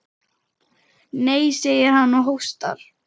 Nei, segir hann og hóstar.